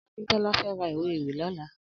Akintola fè rà ìwé éwì lòlà